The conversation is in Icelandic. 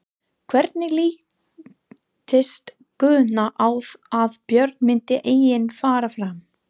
Hvernig litist Guðna á að Björn myndi einnig fara fram?